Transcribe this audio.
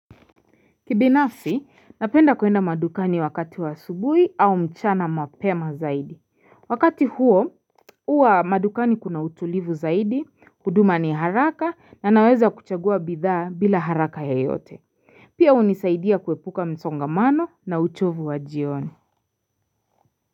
Kibinafsi, napenda kuenda madukani wakati wa asubuhi au mchana mapema zaidi. Wakati huo, uwa madukani kuna utulivu zaidi, huduma ni haraka, na naweza kuchagua bidhaa bila haraka ya yote. Pia hunisaidia kuepuka msongamano na uchovu wa jioni.